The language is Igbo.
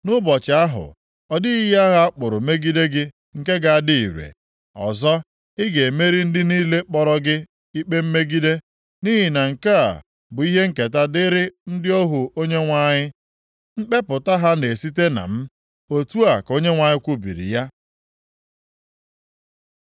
Nʼụbọchị ahụ, ọ dịghị ihe agha a kpụrụ megide gị nke ga-adị ire. Ọzọ, ị ga-emeri ndị niile kpọrọ gị ikpe mmegide. Nʼihi na nke a bụ ihe nketa dịrị ndị ohu Onyenwe anyị. Mkpepụta + 54:17 Mmeri ha maọbụ, ezi omume ha na-esite na m.” Otu a ka Onyenwe anyị kwubiri ya.